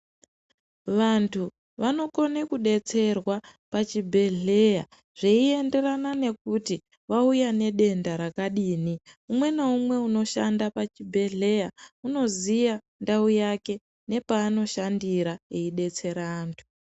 Vanthu vanokone kudetserwa pachibhedhleya zveinderana nekuti wauya nedenda rakadini umwe naumwe unoshanda pachibhedhleya unoziya ndau yake nepa anoshandira eidetsera anthu.